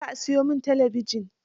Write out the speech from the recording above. Yau za a siyo min talabijin